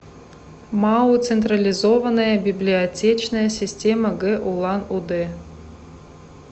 мау централизованная библиотечная система г улан удэ